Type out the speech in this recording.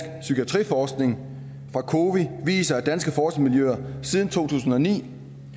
psykiatriforskning fra cowi viser at danske forskermiljøer siden to tusind og ni